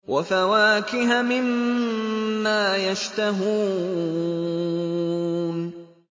وَفَوَاكِهَ مِمَّا يَشْتَهُونَ